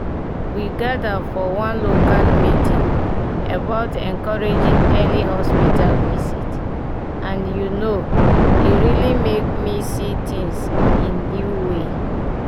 we gather for one local meeting about encouraging early hospital visit and you know e really make me see things in new way.